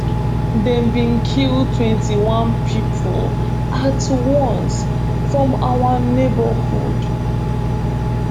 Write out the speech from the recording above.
dem bin kill twenty-one pipo at once from our neighbourhood